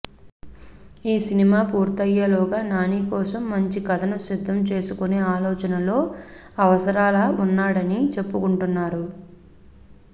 ఈ సినిమా పూర్తయ్యేలోగా నాని కోసం మంచి కథను సిద్ధం చేసుకునే ఆలోచనలో అవసరాల వున్నాడని చెప్పుకుంటున్నారు